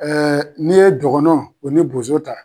Ɛɛ n'i ye dɔgɔnɔ o ni bozo ta